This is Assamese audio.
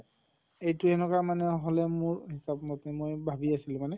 এইটো এনকা মানে হʼলে মোৰ ভাবি আছিলো মানে